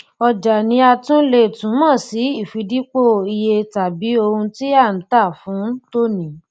ọjà ni a tún le túmọ sí ìfidípò iyetàbí ohun tí à ń tà fún tòní